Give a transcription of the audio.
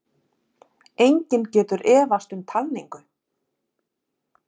Enginn getur efast um talningu